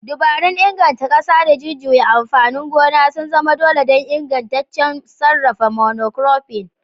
Dabarun inganta ƙasa da jujjuya amfanin gona sun zama dole don ingantaccen sarrafa monocropping.